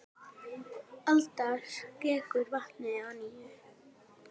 Alda skekur vatnið að nýju.